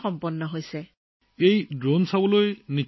তেতিয়া নিশ্চয় আৰু বহুত মানুহ এই ড্ৰোন চাবলৈ আহে